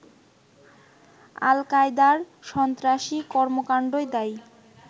আল কায়দার সন্ত্রাসী কর্মকান্ডই দায়ী